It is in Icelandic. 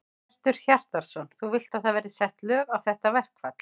Hjörtur Hjartarson: Þú vilt að það verði sett lög á þetta verkfall?